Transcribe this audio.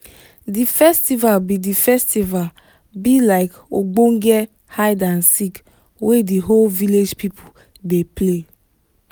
the festival be the festival be like ogbonge hide and seek wey di whole village people play